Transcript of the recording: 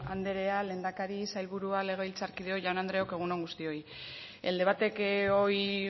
andrea lehendakari sailburua legebiltzarkideok jaun andreok egun on guztioi el debate que hoy